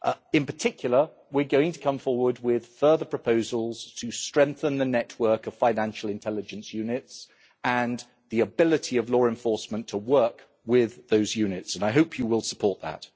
In particular, we're going to come forward with further proposals to strengthen the network of financial intelligence units and the ability of law enforcement to work with those units, and I hope you will support that.